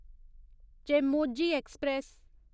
Chemmozhi express